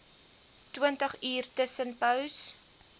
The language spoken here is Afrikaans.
twintig uur tussenpose